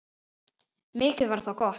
Mikið var það gott.